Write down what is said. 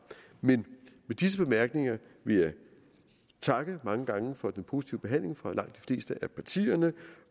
med disse bemærkninger vil jeg takke mange gange for den positive behandling fra langt de fleste af partiernes